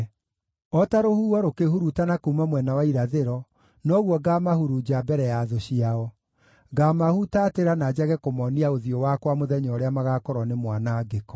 O ta rũhuho rũkĩhurutana kuuma mwena wa irathĩro, noguo ngaamahurunja mbere ya thũ ciao; ngaamahutatĩra na njage kũmoonia ũthiũ wakwa mũthenya ũrĩa magaakorwo nĩ mwanangĩko.”